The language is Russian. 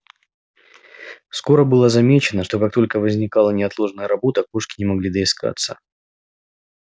скоро было замечено что как только возникала неотложная работа кошки не могли доискаться